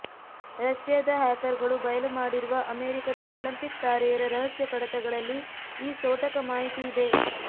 ರಷ್ಯಾದ ಹ್ಯಾಕರ್ಗಳು ಬಯಲು ಮಾಡಿರುವ ಅಮೆರಿಕದ ಒಲಿಂಪಿಕ್ ತಾರೆಯರ ರಹಸ್ಯ ಕಡತಗಳಲ್ಲಿ ಈ ಸೋಟಕ ಮಾಹಿತಿ ಇದೆ